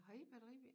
Har i batteribil?